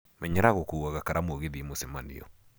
Menyera gúkuaga karamu ũgĩthiĩ mũcemanio.